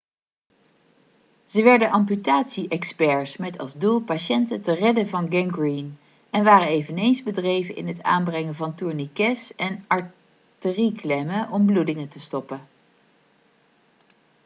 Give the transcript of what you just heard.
ze werden amputatie-experts met als doel patiënten te redden van gangreen en waren eveneens bedreven in het aanbrengen van tourniquets en arterieklemmen om bloedingen te stoppen